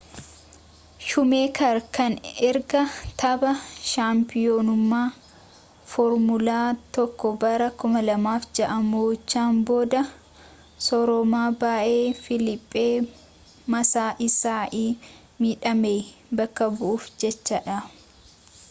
shuumeeker kan erga tapha shaampiyoonummaa foormulaa 1 bara 2006 mo'achuun booda sooroma ba'ee filiippee maasaa isai midhame bakka bu'uuf jedha